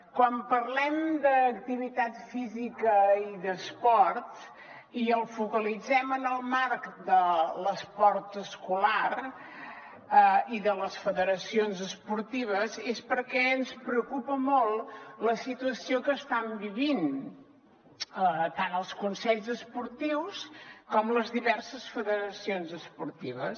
quan parlem d’activitat física i d’esport i ho focalitzem en el marc de l’esport escolar i de les federacions esportives és perquè ens preocupa molt la situació que estan vivint tant els consells esportius com les diverses federacions esportives